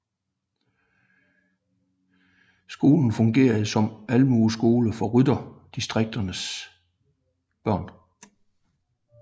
Skolerne fungerede som almueskoler for rytterdistrikternes børn